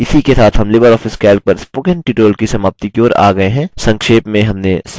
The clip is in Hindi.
इसी के साथ हम लिबर ऑफिस calc पर spoken tutorial की समाप्ति की ओर आ गये हैं